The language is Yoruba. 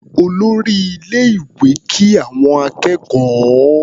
Olórí ilé-ìwé kí àwọn akẹ́kọ̀ọ́.